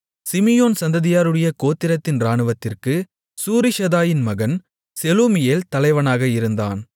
Simeon சந்ததியாருடைய கோத்திரத்தின் இராணுவத்திற்குச் சூரிஷதாயின் மகன் செலூமியேல் தலைவனாக இருந்தான்